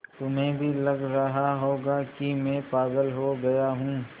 तुम्हें भी लग रहा होगा कि मैं पागल हो गया हूँ